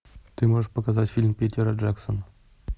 ты можешь показать фильм питера джексона